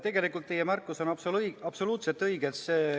Tegelikult teie märkus on absoluutselt õige.